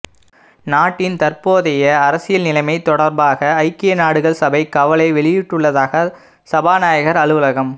நாட்டின் தற்போதைய அரசியல் நிலைமை தொடர்பாக ஐக்கிய நாடுகள் சபை கவலை வெளியிட்டுள்ளதாக சபாநாயகர் அலுவலகம